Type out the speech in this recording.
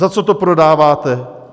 Za co to prodáváte?